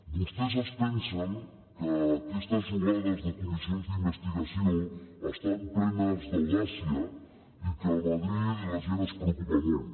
vostès es pensen que aquestes jugades de comissions d’investigació estan plenes d’audàcia i que a madrid a la gent li preocupa molt